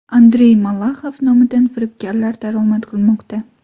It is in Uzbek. Andrey Malaxov nomidan firibgarlar daromad qilmoqda.